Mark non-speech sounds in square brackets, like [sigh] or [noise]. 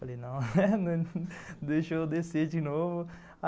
Falei, não, [laughs] deixa eu descer de novo.